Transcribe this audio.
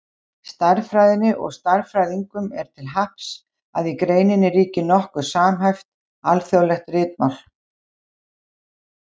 Stærðfræðinni og stærðfræðingum er til happs að í greininni ríkir nokkuð samhæft, alþjóðlegt ritmál.